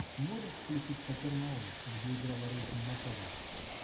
можешь включить капернаум где играла рэйчел макадамс